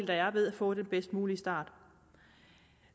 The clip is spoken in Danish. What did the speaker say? der er ved at få den bedst mulige start